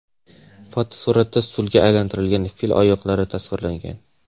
Fotosuratda stulga aylantirilgan fil oyoqlari tasvirlangan.